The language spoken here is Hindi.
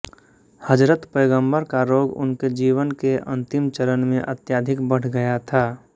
हज़रत पैगम्बरका रोग उनके जीवन के अन्तिम चरण में अत्याधिक बढ़ गया था